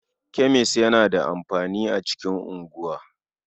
Kemis yana da amfani a cikin unguwa.